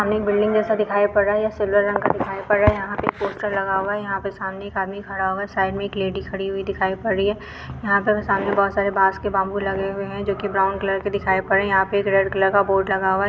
सामने बिल्डिंग जैसा दिखाई पड़ रहा है ये सिल्वर रंग का दिखाई पद रहा है यहा पे पोस्टर लगा हुआ है यहा पे सामने एक आदमी खड़ा हुआ है साइड मे एक लेड़ी खड़ी हुई है यहा पर बोहत सारे बास के बांबू लगे हुए है जो की ब्राउन कलर के दिखाई पड़ रहे है यहा पे रेड कलर का लगा हुआ ह।